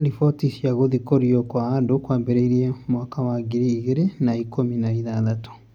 Ripoti cia kuthikorua kwa andũ kwambĩrĩrie mwaka wa ngiri ĩgiri na ikũmi na ithathatũ